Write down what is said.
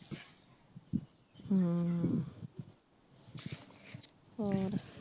ਹਮ ਹੋਰ?